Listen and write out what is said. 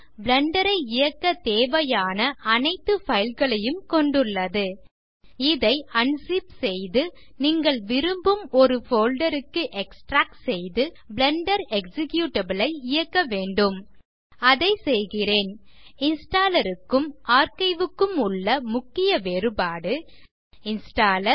Blender ஐ இயக்க தேவையான அனைத்து fileகளையும் கொண்டுள்ளது இதை உஞ்சிப் செய்து நீங்கள் விரும்பும் ஒரு போல்டர் க்கு எக்ஸ்ட்ராக்ட் செய்து பிளெண்டர் எக்ஸிகியூட்டபிள் ஐ இயக்க வேண்டும் அதை செய்கிறேன் இன்ஸ்டாலர் க்கும் ஆர்க்கைவ் க்கும் உள்ள முக்கிய வேறுபாடு இன்ஸ்டாலர்